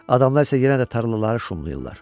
Adamlar isə yenə də tarlaları şumlayırlar.